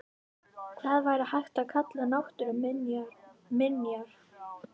Hvað væri hægt að kalla náttúruminjar?